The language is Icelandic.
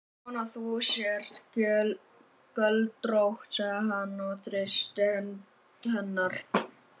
Ég vona að þú sért göldrótt, sagði hann og þrýsti hönd hennar.